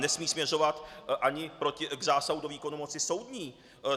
Nesmí směřovat ani k zásahu do výkonu moci soudní.